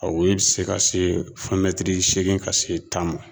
A woyo bɛ se ka se fɔ mɛtiri seegin ka se tan ma